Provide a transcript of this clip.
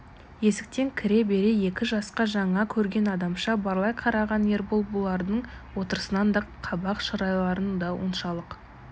есіктен кіре бере екі жасқа жаңа көрген адамша барлай қараған ербол бұлардың отырысын да қабақ шырайларын да оншалық